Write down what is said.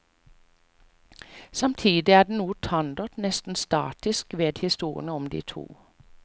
Samtidig er det noe tandert, nesten statisk ved historien om de to.